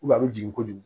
a bɛ jigin kojugu